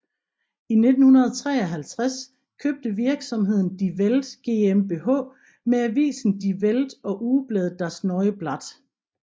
I 1953 købte virksomheden Die Welt GmbH med avisen Die Welt og ugebladet Das neue Blatt